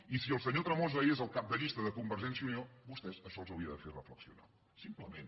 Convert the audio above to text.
i si el senyor tremosa és el cap de llista de convergència i unió a vostès això els hauria de fer reflexionar simplement